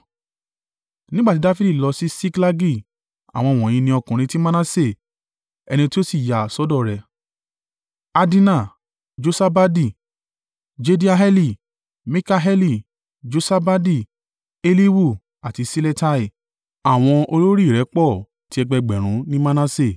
Nígbà tí Dafidi lọ sí Siklagi, àwọn wọ̀nyí ni ọkùnrin ti Manase ẹni tí ó sì yà sọ́dọ̀ rẹ̀. Adina, Josabadi, Jediaeli, Mikaeli, Josabadi, Elihu àti Siletai, àwọn olórí ìrẹ́pọ̀ ti ẹgbẹẹgbẹ̀rún ní Manase.